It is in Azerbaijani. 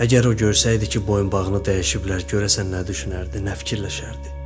Əgər o görsəydi ki, boyunbağını dəyişiblər, görəsən nə düşünərdi, nə fikirləşərdi?